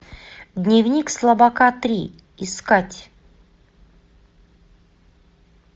дневник слабака три искать